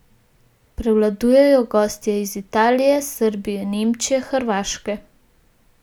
Prevladujejo gostje iz Italije, Srbije, Nemčije, Hrvaške.